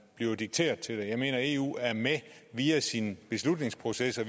bliver dikteret til det jeg mener at eu via sine beslutningsprocesser